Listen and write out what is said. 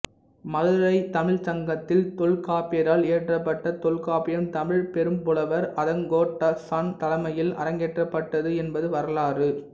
மதுரை தமிழ்ச்சங்கத்தில் தொல்காப்பியரால் இயற்றப்பட்ட தொல்காப்பியம் தமிழ் பெரும்புலவர் அதங்கோட்டாசான் தலைமையில் அரங்கேற்றப்பட்டது என்பது வரலாறு